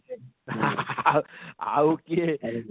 ହା ହା ହା ହା ଆଃ ଆଉ କିଏ?